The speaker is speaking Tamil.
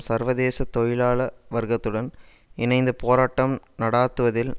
சர்வதேச தொழிலாள வர்க்கத்துடன் இணைந்து போராட்டம் நடாத்துவதில்